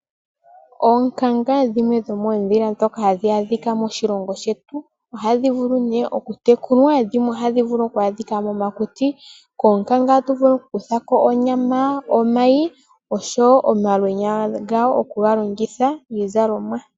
Oonkanga dhimwe dhomoondhila ndhoka hadhi adhika moshilongo shetu. Ohadhi vulu nee okutekulwa. Dhimwe ohadhi vulu oku adhika momakuti. Koonkanga vulu okukutha ko onyama, omayi osho wo omalwenya gadho oku ga longitha miizalomwa.